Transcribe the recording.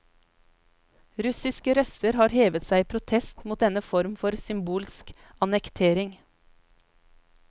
Russiske røster har hevet seg i protest mot denne form for symbolsk annektering.